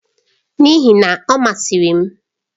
N'ihi na, ọ masịrị m.